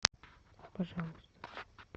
пожалуйста